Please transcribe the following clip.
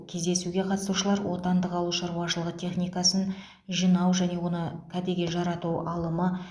кездесуге қатысушылар отандық ауыл шаруашылығы техникасын жинау және оны кәдеге жарату алымы